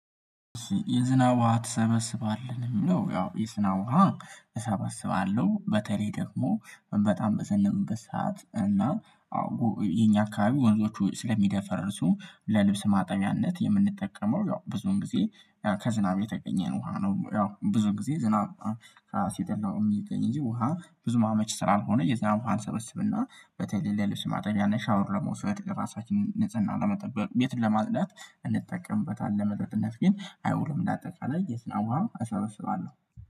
የዝናብ ውሃ ትሰበስባለህ? ነው የሚለው ያው የዝናብ ውሃ እሰበስባለሁ በተለይ ደግሞ በጣም በዘነበበት ሰዓት እና የኛ አካባቢ ወንዞቹ ስለሚደፈርሱ ለልብስ ማጠቢያነት የምንጠቀመው ያው ብዙን ጊዜ ከዝናብ የተገኘን ውሃ ነው ያው ብዙ ጊዜ ዝናብ ሲጥል ነው የሚገኝ እንጂ ውሃ ብዙም አመች ስላልሆነ የዝናብ ውሃን እንሰበስብና በተለይ ለልብስ ማጠቢያና ሻወር ለመውሰድ ለራሳችንን ንጽህና ለመጠበቅ ቤትን ለማጽዳት እንጠቀምበታለን ለመጠጥነት ግን አይውልም ለአጠቃላይ የዝናብ እሰበስባለሁ